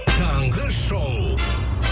таңғы шоу